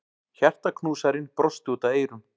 Hjartaknúsarinn brosti út að eyrum.